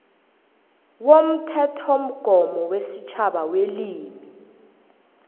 womthethomgomo wesitjhaba welimi